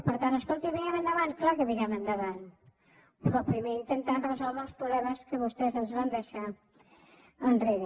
per tant escolti mirem endavant clar que mirem endavant però primer intentant resoldre els problemes que vostès ens van deixar enrere